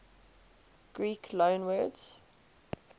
greek loanwords